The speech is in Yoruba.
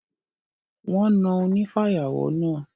Wọ́n na onífàyàwọ́ náà.